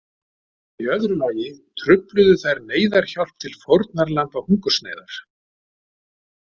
Í öðru lagi trufluðu þær neyðarhjálp til fórnarlamba hungursneyðar.